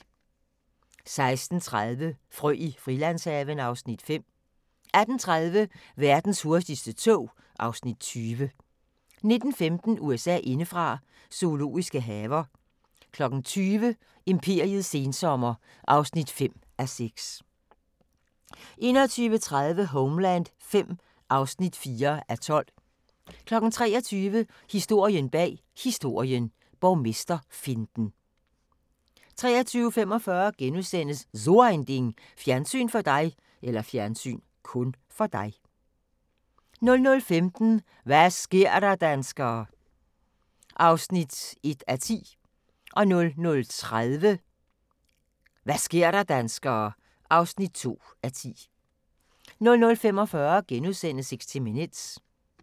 16:30: Frø i Frilandshaven (Afs. 5) 18:30: Verdens hurtigste tog (Afs. 20) 19:15: USA indefra: Zoologiske haver 20:00: Imperiets sensommer (5:6) 21:30: Homeland V (4:12) 23:00: Historien bag Historien: Borgmesterfinten 23:45: So ein Ding: Fjernsyn (kun) for dig * 00:15: Hva' sker der, danskere? (1:10) 00:30: Hva' sker der, danskere? (2:10) 00:45: 60 Minutes *